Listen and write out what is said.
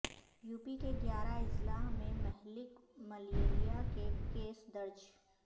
you P کے گیارہ اضلاع میں مہلک ملیریا کے کیس درج